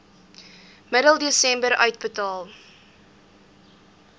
middel desember uitbetaal